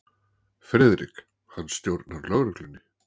FRIÐRIK: Hann stjórnar lögreglunni.